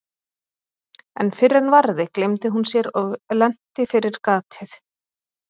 En fyrr en varði gleymdi hún sér og lenti fyrir gatið.